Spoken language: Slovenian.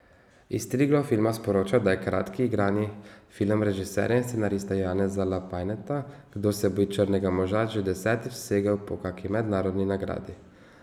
Iz Triglav filma sporočajo, da je kratki igrani film režiserja in scenarista Janeza Lapajneta Kdo se boji črnega moža že desetič segel po kaki mednarodni nagradi.